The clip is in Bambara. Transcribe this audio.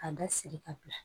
A da siri ka bila